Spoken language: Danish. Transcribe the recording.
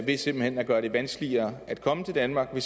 ved simpelt hen at gøre det vanskeligere at komme til danmark ved